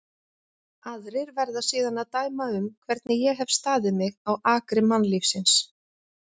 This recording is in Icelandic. Aðrir verða síðan að dæma um hvernig ég hef staðið mig á akri mannlífsins.